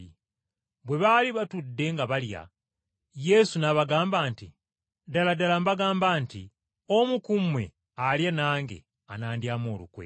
Bwe baali batudde nga balya, Yesu n’abagamba nti, “Ddala ddala mbagamba nti omu ku mmwe alya nange anandyamu olukwe.”